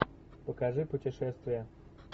покажи путешествия